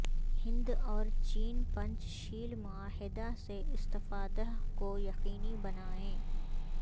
ہند اور چین پنچ شیل معاہدہ سے استفادہ کو یقینی بنائیں